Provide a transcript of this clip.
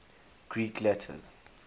greek letters